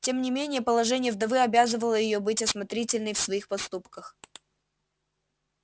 тем не менее положение вдовы обязывало её быть осмотрительной в своих поступках